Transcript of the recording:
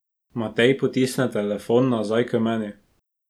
Matej potisne telefon nazaj k meni.